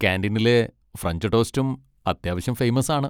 കാന്റീനിലെ French ടോസ്റ്റും അത്യാവശ്യം famous ആണ്.